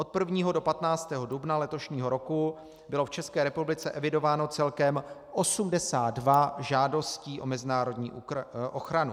Od 1. do 15. dubna letošního roku bylo v České republice evidováno celkem 82 žádostí o mezinárodní ochranu.